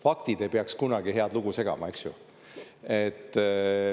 Faktid ei peaks kunagi head lugu segama, eks ju.